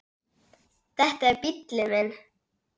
Þetta er bíllinn minn